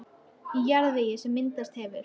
Í jarðvegi, sem myndast hefur á